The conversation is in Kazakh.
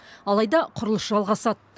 алайда құрылыс жалғасады